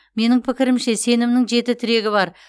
менің пікірімше сенімнің жеті тірегі бар